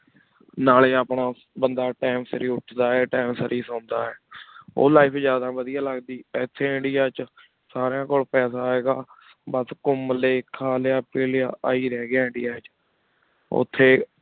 ਨਾਲ੍ਯਨ ਆਪਣਾ ਬੰਦਾ time ਸਰ ਉਠਦਾ ਵਾ ਟੀ time ਸੇਰ ਹੀ ਸੁਣਦਾ ਆਯ ਊ life ਜਾਦਾ ਵਾਦੇਯਾ ਲਗਦੀ ਏਥੀ ਇੰਡੀਆ ਚ ਸਰੀਨਾ ਕੋਲ ਪਾਸਾ ਹੈਂ ਗਾ ਬਸ ਘੁਮਾ ਲੇਯ ਖਾਲ੍ਯਾ ਪੀਲੀਆ ਆਰਹੀ ਰਹ੍ਗ੍ਯ ਇੰਡੀਆ ਚ ਓਥੀ